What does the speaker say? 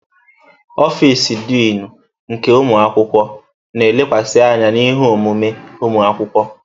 Ọfịs Dịnụ nke ụmụ akwụkwọ na-elekwasị anya na ihe omume ụmụ akwụkwọ.